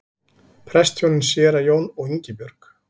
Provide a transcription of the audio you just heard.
Prestshjónin séra Jón og Ingibjörg